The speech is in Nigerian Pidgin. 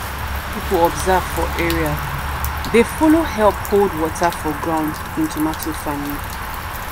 people observe for area dey follow help hold water for ground in tomato farming.